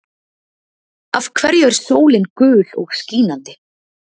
Af hverju er sólin gul og skínandi?